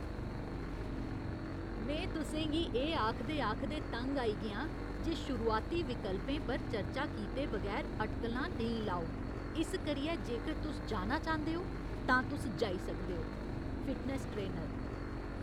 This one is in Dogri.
में तुसें गी एह् आखदे आखदे तंग आई गेआं जे शुरुआती विकल्पें पर चर्चा कीते बगैर अटकलां नेईं लाओ, इस करियै जेकर तुस जाना चांह्दे ओ तां तुस जाई सकदे ओ। Fitness trainer